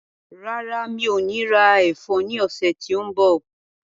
Rárá, mi ò ní ra ẹ̀fọ́ ní ọ̀sẹ̀ tí ó ń bọ̀.